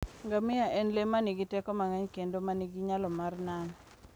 Ngamia en le ma nigi teko mang'eny kendo ma nigi nyalo mar nano.